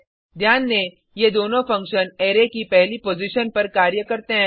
ध्यान दें ये दोनों फंक्शन अरै की पहली पॉजिशन पर कार्य करते हैं